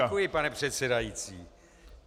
Děkuji, pane předsedající.